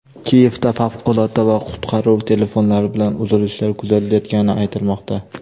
Kiyevda favqulodda va qutqaruv telefonlari bilan uzilishlar kuzatilayotgani aytilmoqda.